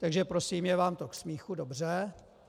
Takže prosím, je vám to k smíchu, dobře.